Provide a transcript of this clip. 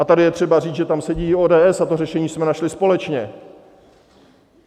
A tady je třeba říct, že tam sedí i ODS, a to řešení jsme našli společně.